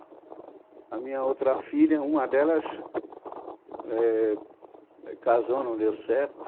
E a minha outra filha, uma delas, éh, casou, não deu certo.